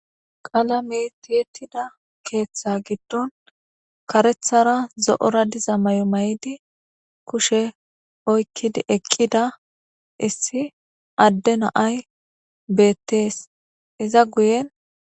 Qalame ti7etida ketha gidoni karethara zo7ora diza mayomaydi kushe oyikidi eqida issi ade na7ay betes iza guyeni